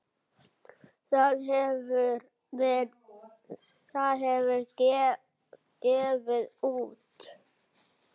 Það hefur gefið út